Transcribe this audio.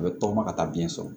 A bɛ tɔgɔma ka taa biyɛn sɔrɔ